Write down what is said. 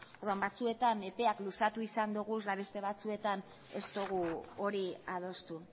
orduan batzuetan epeak luzatu izan ditugu eta beste batzuetan ez dugu hori adostu